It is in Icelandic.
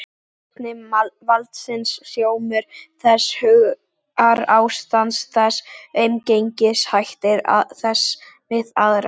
Vani valdsins, hljómur þess, hugarástand þess, umgengnishættir þess við aðra.